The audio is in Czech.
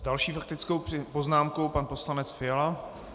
S další faktickou poznámkou pan poslanec Fiala.